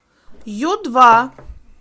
ю два